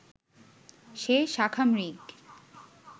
সে শাখামৃগ